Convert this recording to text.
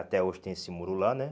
Até hoje tem esse muro lá, né?